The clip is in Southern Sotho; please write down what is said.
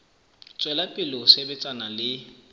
tswela pele ho sebetsana le